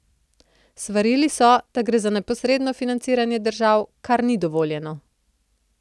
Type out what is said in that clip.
Svarili so, da gre za neposredno financiranje držav, kar ni dovoljeno.